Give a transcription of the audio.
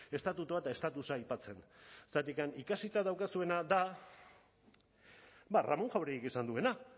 estatutua eta estatusa aipatzen zergatik ikasita daukazuena da ba ramón jáuregik esan duena